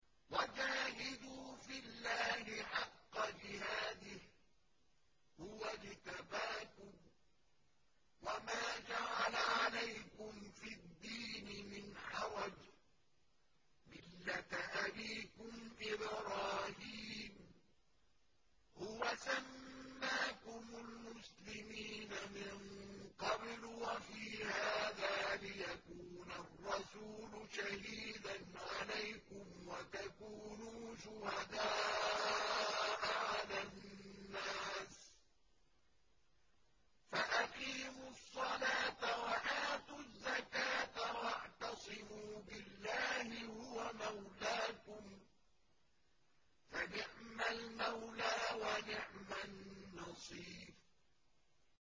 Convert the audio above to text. وَجَاهِدُوا فِي اللَّهِ حَقَّ جِهَادِهِ ۚ هُوَ اجْتَبَاكُمْ وَمَا جَعَلَ عَلَيْكُمْ فِي الدِّينِ مِنْ حَرَجٍ ۚ مِّلَّةَ أَبِيكُمْ إِبْرَاهِيمَ ۚ هُوَ سَمَّاكُمُ الْمُسْلِمِينَ مِن قَبْلُ وَفِي هَٰذَا لِيَكُونَ الرَّسُولُ شَهِيدًا عَلَيْكُمْ وَتَكُونُوا شُهَدَاءَ عَلَى النَّاسِ ۚ فَأَقِيمُوا الصَّلَاةَ وَآتُوا الزَّكَاةَ وَاعْتَصِمُوا بِاللَّهِ هُوَ مَوْلَاكُمْ ۖ فَنِعْمَ الْمَوْلَىٰ وَنِعْمَ النَّصِيرُ